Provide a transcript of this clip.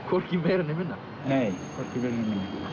hvorki meira né minna